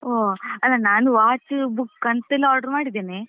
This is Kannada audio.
ಹೋ ಅಲ್ಲ ನಾನ್ watch book ಅಂತೆಲ್ಲ order ಮಾಡಿದ್ದೇನೆ.